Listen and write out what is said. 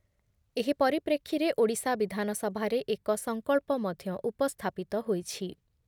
ଏହି ପରିପ୍ରେକ୍ଷୀରେ ଓଡ଼ିଶା ବିଧାନସଭାରେ ଏକ ସଂକଳ୍ପ ମଧ୍ୟ ଉପସ୍ଥାପିତ ହୋଇଛି ।